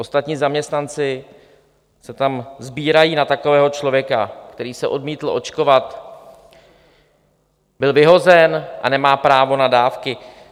Ostatní zaměstnanci se tam sbírají na takového člověka, který se odmítl očkovat, byl vyhozen a nemá právo na dávky.